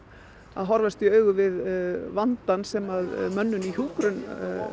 að horfast í augu við vandann sem mönnun í hjúkrun